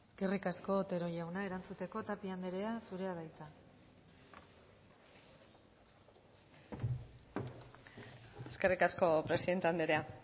eskerrik asko otero jauna erantzuteko tapia andrea zurea da hitza eskerrik asko presidente andrea